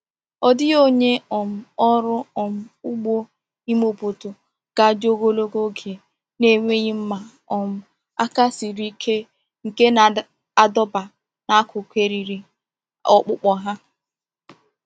Ọ dịghị onye um ọrụ um ugbo ime obodo ga-adị ogologo oge na-enweghị mma um aka siri ike nke na-adọba n’akụkụ eriri ọkpụkpọ ha.